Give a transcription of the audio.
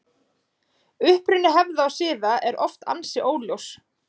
Uppruni hefða og siða er oft ansi óljós.